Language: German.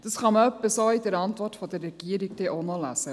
Dies kann man so in der Antwort der Regierung auch noch lesen.